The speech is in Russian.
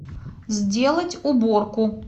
сделать уборку